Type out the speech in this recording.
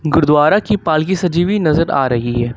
गुरुद्वारा की पालकी सजी हुई नजर आ रही है।